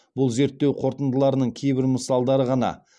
бұл зерттеу қорытындыларының кейбір мысалдары ғана